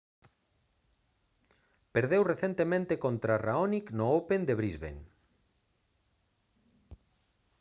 perdeu recentemente contra raonic no open de brisbane